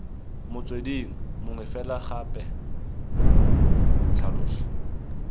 motsweding mongwe fela gape tlhalosa